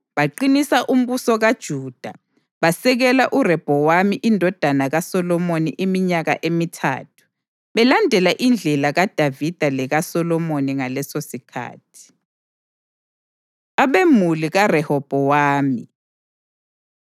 Baqinisa umbuso kaJuda basekela uRehobhowami indodana kaSolomoni iminyaka emithathu, belandela indlela kaDavida lekaSolomoni ngalesosikhathi. Abemuli KaRehobhowami